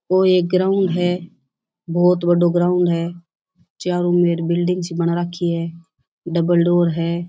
और एक ग्राउंड है बहुत बड़ो ग्राउंड है चारो ओर बिल्डिंग सी बना रखी है डबल डोर है।